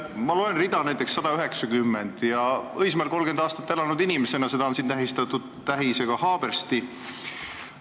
Ma loen siit Õismäel 30 aastat elanud inimesena näiteks rida 190, mis on tähistatud sõnaga "Haabersti".